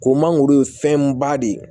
Ko mangoro ye fɛn ba de ye